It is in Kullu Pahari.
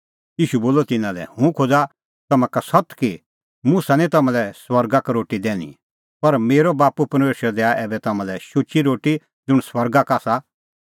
ईशू बोलअ तिन्नां लै हुंह खोज़ा तम्हां का सत्त कि मुसा निं तम्हां लै स्वर्गा का रोटी दैनी पर मेरअ बाप्पू परमेशर दैआ ऐबै तम्हां लै शुची रोटी ज़ुंण स्वर्गा का आसा